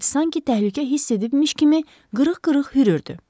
İt sanki təhlükə hiss edibmiş kimi qırıq-qırıq hürürdü.